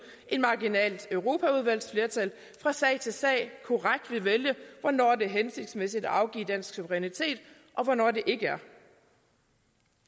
et marginalt europaudvalgsflertal fra sag til sag korrekt vil vælge hvornår det er hensigtsmæssigt at afgive dansk suverænitet og hvornår det ikke er